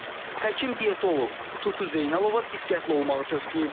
Həkim-dietoloq Tutu Zeynalova diqqətli olmağı tövsiyə edir.